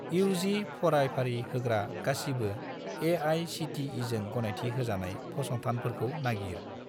UG. फरायफारि होग्रा गासिबो ए.आइ.सि.टि.इ.जों गनायथि होजानाय फसंथानफोरखौ नागिर।